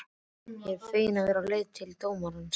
Ég var fegin að vera á leið til dómarans.